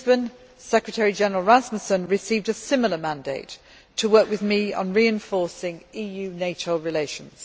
In Lisbon, Secretary General Rasmussen received a similar mandate to work with me on reinforcing EU NATO relations.